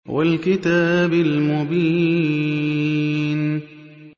وَالْكِتَابِ الْمُبِينِ